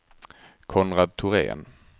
Konrad Thorén